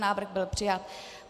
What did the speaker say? Návrh byl přijat.